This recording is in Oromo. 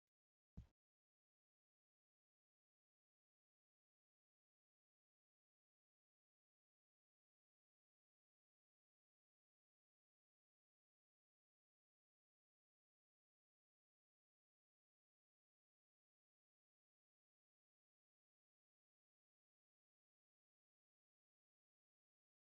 Qophii caayaa karaa OBN darbu keessatti qaamoleen miidiyaa hirmaatan baay'eedha. Qaamoleen kun yeroo qophiin isaanii darbu dabareedhaan irratti hirmaachuudhaan hojocha fiixa baasaa jiru. Akkasumas abbootiin aangoo bakkeewwan hedduu irra jiran gara isaanii dhaquudhaan gaaffiifi deebii taasisan eeyyamamoo ta'uun isaanii milkaa'ina qophichaa ta'eera.